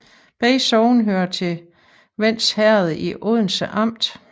Begge sogne hørte til Vends Herred i Odense Amt